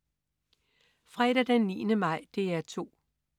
Fredag den 9. maj - DR 2: